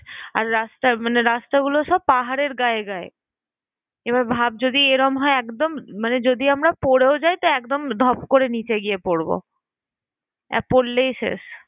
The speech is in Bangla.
আর রাস্তা মানে রাস্তাগুলো সব পাহাড়ের গায়ে গায়ে। এবার ভাব যদি এরম হয় একদম মানে যদিও আমরা পরেও যাই, তো একদম ধপ করে নিচে গিয়ে পরবো। আর পরলেই শেষ।